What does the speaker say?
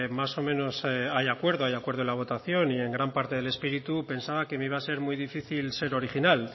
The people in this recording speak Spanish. más o menos hay acuerdo hay acuerdo en la votación y en gran parte del espíritu pensaba que me iba ser muy difícil ser original